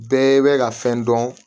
Bɛɛ bɛ ka fɛn dɔn